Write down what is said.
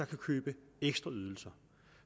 kan købe ekstra ydelser